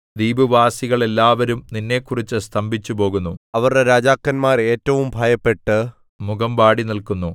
ദ്വീപുവാസികളെല്ലാവരും നിന്നെക്കുറിച്ച് സ്തംഭിച്ചുപോകുന്നു അവരുടെ രാജാക്കന്മാർ ഏറ്റവും ഭയപ്പെട്ട് മുഖം വാടി നില്ക്കുന്നു